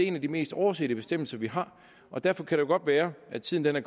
en af de mest oversete bestemmelser vi har og derfor kan det godt være at tiden er